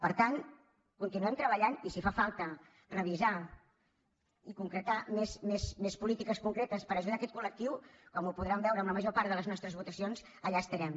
per tant continuem treballant hi i si fa falta revisar i concretar més polítiques concretes per ajudar aquest col·lectiu com ho podran veure en la major part de les nostres votacions allà estarem